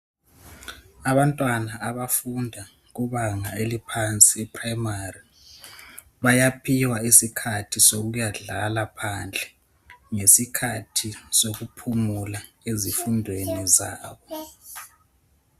Abantwana abafunda kubanga eliphansi, iPrimary bayaphiwa isikhathi sokuyadlala phandle ngesikhathi sokuphumula ezifundweni zabo.